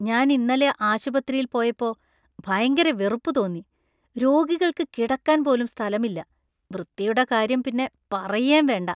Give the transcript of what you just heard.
ഞാൻ ഇന്നലെ ആശുപത്രിയിൽ പോയിപ്പോ ഭയങ്കര വെറുപ്പു തോന്നി . രോഗികൾക്ക് കിടക്കാൻ പോലും സ്ഥലമില്ല, വൃത്തിയുടെ കാര്യം പിന്നെ പറയേം വേണ്ട .